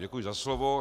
Děkuji za slovo.